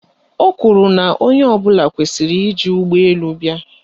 Ọ kwuru na onye ọbụla kwesiri iji ụgbọelu bịa